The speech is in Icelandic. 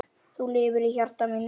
Þú lifir í hjarta mínu.